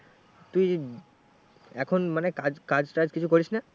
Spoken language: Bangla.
তুই এখন মানে কাজ কাজটাজ কিছু করিস না?